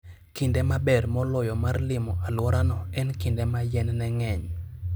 Kinde maber moloyo mar limo alworano en kinde ma yien ne ng'eny.